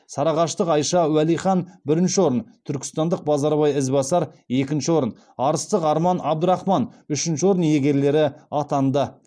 сарыағаштық айша уалихан бірінші орын түркістандық базарбай ізбасар екінші орын арыстық арман абдрахман үшінші орын иегерлері атанды